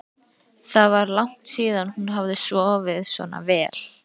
Það var langt síðan hún hafði sofið svona vel.